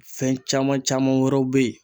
Fɛn caman caman wɛrɛw be yen